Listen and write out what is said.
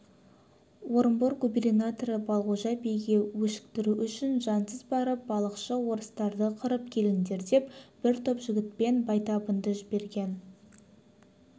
орынбор губернаторын балғожа биге өшіктіру үшін жансыз барып балықшы орыстарды қырып келіңдер деп бір топ жігітпен байтабынды жіберген